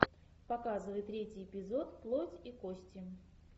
показывай третий эпизод плоть и кости